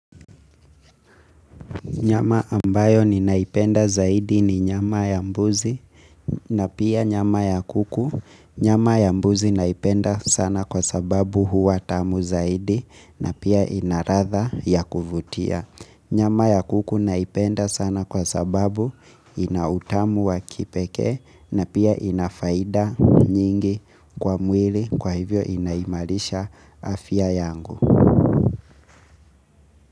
Nyama ambayo ninaipenda zaidi ni nyama ya mbuzi na pia nyama ya kuku. Nyama ya mbuzi naipenda sana kwa sababu huwa tamu zaidi na pia inaladha ya kuvutia. Nyama ya kuku naipenda sana kwa sababu ina utamu wa kipekee na pia inafaida nyingi kwa mwili kwa hivyo inaimarisha afya yangu.